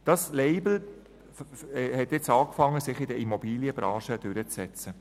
Dieses Label beginnt sich in der Immobilienbranche durchzusetzen.